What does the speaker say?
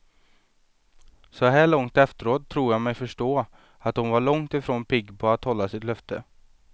Så här långt efteråt tror jag mig förstå, att hon var långt ifrån pigg på att hålla sitt löfte.